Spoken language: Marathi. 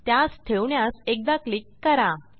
त्यास ठेवण्यास एकदा क्लिक करा